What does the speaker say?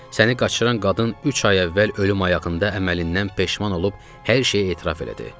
Səni qaçıran qadın üç ay əvvəl ölüm ayağında əməlindən peşman olub hər şeyi etiraf elədi.